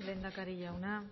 lehendakari jauna